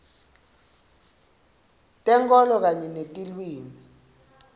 tenkholo kanye netilwimi